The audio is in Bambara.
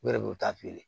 U yɛrɛ b'u ta feere